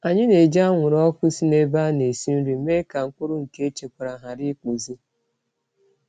Anyị na-eji anwụrụ ọkụ si n'ebe a na-esi nri mee ka mkpụrụ nke echekwara ghara ịkpụzi.